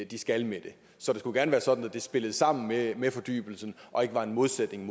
de skal med det så det skulle gerne være sådan at spiller sammen med fordybelsen og ikke er en modsætning